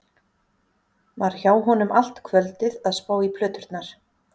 Var hjá honum allt kvöldið að spá í plöturnar.